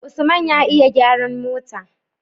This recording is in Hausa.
usman ya iya gyaran mota